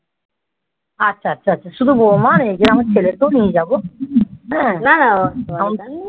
আচ্ছা আচ্ছা শুধু বৌমা নাকি আমার ছেলেকেও নিয়ে যাব না না